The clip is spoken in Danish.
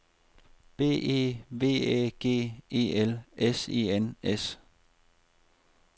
B E V Æ G E L S E N S